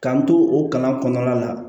K'an to o kalan kɔnɔna la